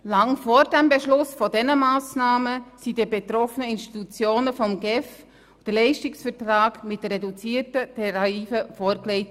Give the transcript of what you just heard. Lange vor dem Beschluss dieser Massnahmen wurde den betroffenen Institutionen von der GEF ein Leistungsvertrag mit reduzierten Tarifen vorgelegt.